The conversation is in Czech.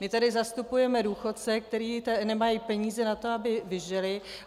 My tady zastupujeme důchodce, kteří nemají peníze na to, aby vyžili.